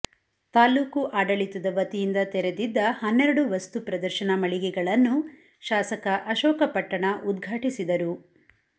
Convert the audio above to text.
ತಾಲ್ಲೂಕು ಆಡಳಿತದ ವತಿಯಿಂದ ತೆರೆದಿದ್ದ ಹನ್ನೆರಡು ವಸ್ತು ಪ್ರದರ್ಶನ ಮಳಿಗೆಗಳನ್ನು ಶಾಸಕ ಅಶೋಕ ಪಟ್ಟಣ ಉದ್ಘಾಟಿಸಿದರು